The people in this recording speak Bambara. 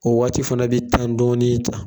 O waati fana i bi tan dɔɔni ta